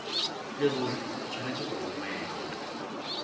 leruri o tshwanetse go romela